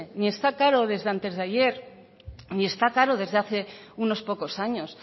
ni está caro desde antes de ayer ni está caro desde hace unos pocos años